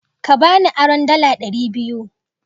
Borrow metwoo hundred dollars